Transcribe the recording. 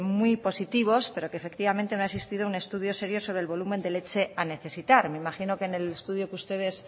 muy positivos pero que efectivamente no ha existido un estudio serio sobre el volumen de leche a necesitar me imagino que en el estudio que ustedes